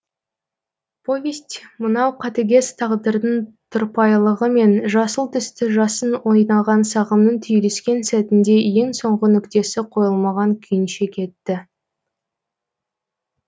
повесть мынау қатыгез тағдырдың тұрпайылығы мен жасыл түсті жасын ойнаған сағымның түйіліскен сәтінде ең соңғы нүктесі қойылмаған күйінше кетті